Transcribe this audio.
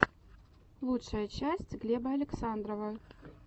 лучшая часть глеба александрова